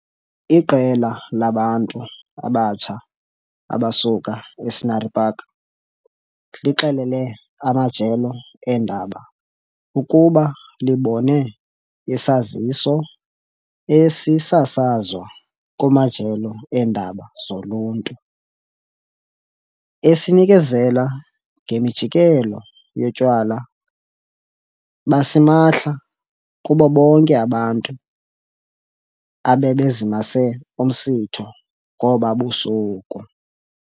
Iqela labantu abatsha abasuka e-Scenery Park lixelele amajelo eendaba ukuba libone isaziso esisasazwa kumajelo eendaba zoluntu, esinikezela ngemijikelo yotywala basimahla kubo bonke abantu abebezimase umsitho ngoba busuku.